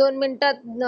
दोन मीनट त